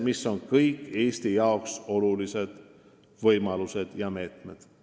Need on kõik Eesti jaoks olulised võimalused ja meetmed.